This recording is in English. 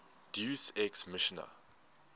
deus ex machina